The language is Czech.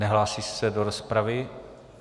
Nehlásí se do rozpravy.